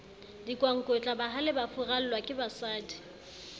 dikwankwetla bahale ba furallwa kebasadi